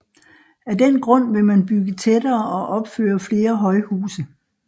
Af den grund vil man bygge tættere og opføre flere højhuse